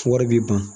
Wari bi ban